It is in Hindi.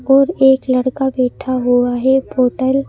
और एक लड़का बैठा हुआ है --